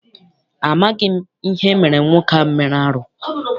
Amaghị m ihe emere nwoke ahụ mere arụ.